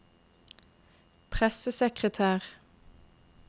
pressesekretær